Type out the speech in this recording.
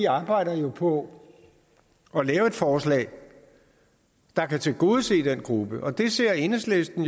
arbejde på at lave et forslag der kan tilgodese den gruppe og det ser enhedslisten